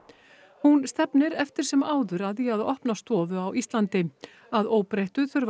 hún stefnir eftir sem áður að því að opna stofu á Íslandi að óbreyttu þurfa